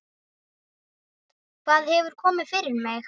Hvað hefur komið fyrir mig?